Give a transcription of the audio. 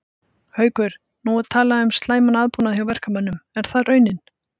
Haukur: Nú er talað um slæman aðbúnað hjá verkamönnum, er það raunin?